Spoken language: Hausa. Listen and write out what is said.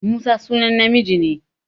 Musa sunan namiji ne.